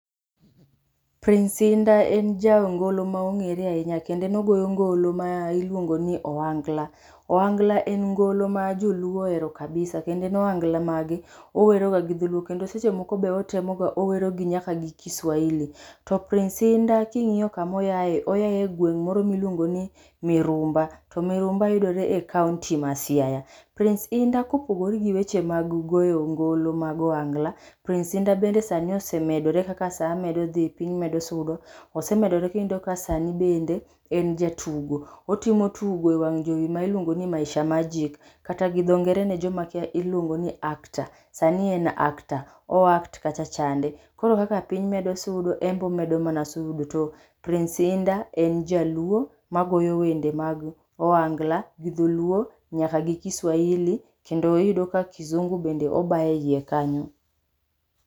Prince Indah en jangolo maong'er ahinya kendo en ogoyo ngolo ma iluongo ni oangla. Oangla en ngolo ma joluo oero kabisa, kendo en oangla mage oweroga gi dholuo. Kendo seche moko be otemoge owerogi nyaka gi Kiswahili. To Prince Indah king'io kamoyaye, oyaye gweng' moro miluongo ni Mirumba. To Mirumba yudore e kaonti ma Siaya. Prince Indah, kopogore gi weche ma goyo ngolo mag oangla, Prince Indah bende sani osemedore kaka saa medo dhi piny medo sudo, osemedoro, kiyudo ka sanii bende en jatugo. Otimo tugo e wang' jowi ma iluongo ni Maisha Magic, kata gi dho ngere ne joma kia iluongo ni actor, sani en actor, oact kachacha chande. Koro kaka piny medo sudo, embo medo mana sudo. To Prince Indah en jaluo magoyo wende mag oangla gidholuo nyaka gi Kiswahili, kendo iyudo ka kizungu bende obaye iye kanyo.